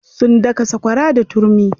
Sun daka sakwara da turmi.